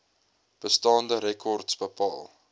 bestaande rekords bepaal